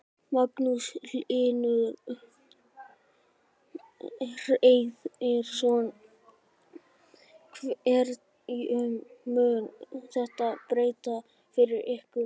Magnús Hlynur Hreiðarsson: Hverju mun þetta breyta fyrir ykkur?